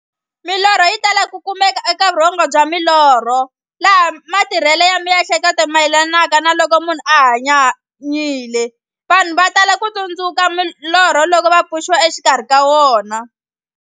Milorho yi tala ku kumeka eka vurhongo bya milorho, laha matirhele ya mihleketo mayelanaka na loko munhu a hanyanyile. Vanhu va tala ku tsundzuka norho loko va pfuxiwa exikarhi ka wona.